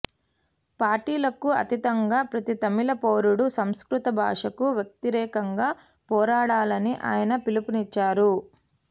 పార్టీలకు అతీతంగా ప్రతి తమిళ పౌరుడు సంస్కృత భాషకు వ్యతిరేకంగా పోరాడాలని ఆయన పిలుపునిచ్చారు